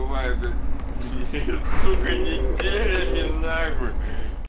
бывает блять сука неделями нахуй